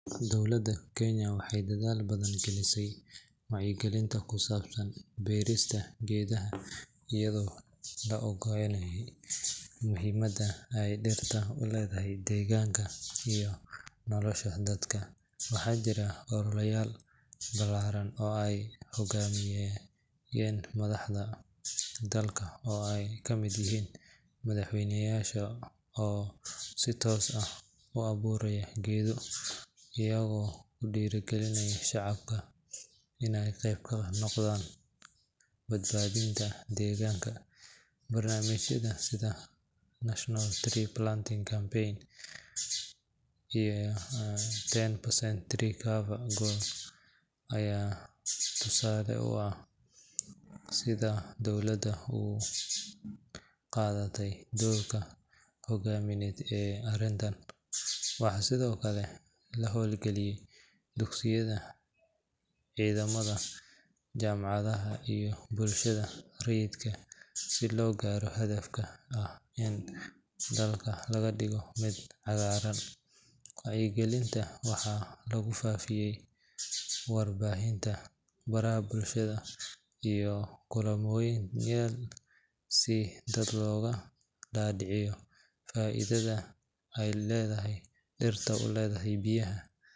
Dowladda Kenya waxay dadaal badan gelisay wacyigelinta ku saabsan beerista geedaha iyadoo la ogyahay muhiimada ay dhirtu u leedahay deegaanka iyo nolosha dadka. Waxaa jiray ololeyaal ballaaran oo ay hoggaaminayeen madaxda dalka oo ay ka mid yihiin madaxweyneyaasha oo si toos ah u abuuray geedo, iyagoo ku dhiirrigelinaya shacabka inay qayb ka noqdaan badbaadinta deegaanka. Barnaamijyada sida National Tree Planting Campaign iyo 10% tree cover goal ayaa tusaale u ah sida dowladda u qaadatay doorka hoggaamineed ee arrintan. Waxaa sidoo kale la hawlgeliyay dugsiyada, ciidamada, jaamacadaha iyo bulshada rayidka si loo gaaro hadafka ah in dalka laga dhigo mid cagaaran. Wacyigelinta waxaa lagu faafiyay warbaahinta, baraha bulshada, iyo kulanweyneyaal si dadka looga dhaadhiciyo faa’iidada ay dhirtu u leedahay biyaha.